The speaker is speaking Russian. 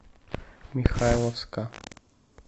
михайловска